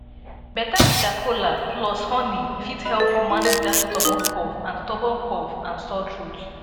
bitter kola plus honey fit help you manage dat stubborn cough and stubborn cough and sore throat